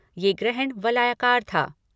यह ग्रहण वलयाकार था।